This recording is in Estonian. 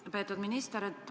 Lugupeetud minister!